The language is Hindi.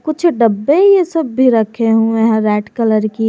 कुछ डब्बे ये सब भी रखें हुए हैं रेड कलर की।